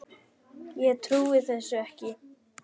Ég trúi þessu ekki!